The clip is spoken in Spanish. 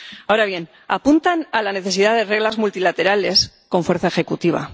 Ahora bien, apuntan a la necesidad de reglas multilaterales con fuerza ejecutiva.